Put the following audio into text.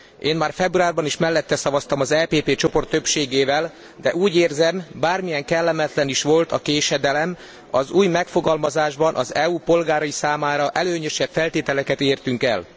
Én már februárban is mellette szavaztam, az EPP csoport többségével, de úgy érzem, bármilyen kellemetlen is volt a késedelem, az új megfogalmazásban az EU polgárai számára előnyösebb feltételeket értünk el.